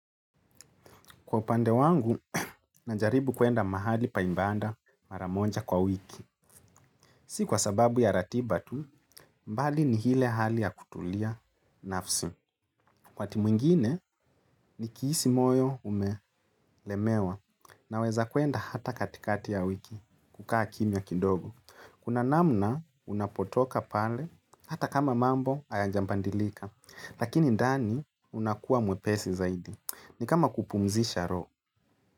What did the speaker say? Kwa upande wangu, najaribu kuenda mahali paibanda maramonja kwa wiki. Si kwa sababu ya ratiba tu, mbali ni hile hali ya kutulia nafsi. Wakati mwingine, ni kihisi moyo umelemewa na weza kuenda hata katikati ya wiki kukaa kimya kidogo. Kuna namna unapotoka pale hata kama mambo hayajambandilika. Lakini ndani unakuwa mwepesi zaidi. Ni kama kupumzisha roho.